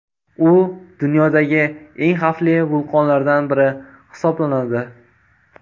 U dunyodagi eng xavfli vulqonlardan biri hisoblanadi.